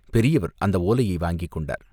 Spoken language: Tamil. பெரியவர் அந்த ஓலையை வாங்கிக் கொண்டார்.